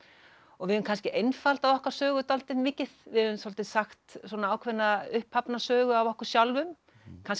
og við höfum kannski einfaldað okkar sögu dálítið mikið við höfum svolítið sagt ákveðna upphafna sögu af okkur sjálfum kannski